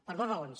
per dues raons